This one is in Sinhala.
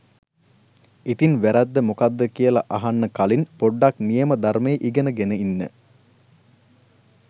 ඉතින් වැරැද්ද මොකද්ද කියල අහන්න කලින් පොඩ්ඩක් නියම ධර්මය ඉගෙන ගෙන ඉන්න.